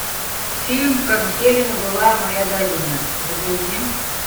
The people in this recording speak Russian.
фильм как зелена была моя долина загрузи